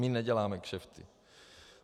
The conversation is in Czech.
My neděláme kšefty.